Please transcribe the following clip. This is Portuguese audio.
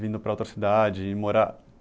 Vindo para outra cidade morar.